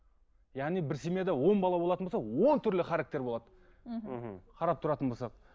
яғни бір семьяда он бала болатын болса он түрлі характер болады мхм қарап тұратын болсақ